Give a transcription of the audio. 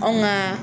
Anw ka